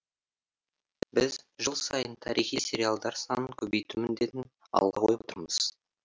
біз жыл сайын тарихи сериалдар санын көбейту міндетін алға қойып отырмыз